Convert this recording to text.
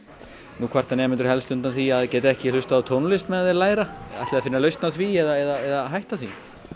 nú kvarta nemendur helst undan því að geta ekki hlustað á tónlist á meðan þeir læra ætlið þið að finna lausn á því eða hætta því